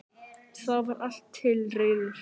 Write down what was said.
Þá var allt til reiðu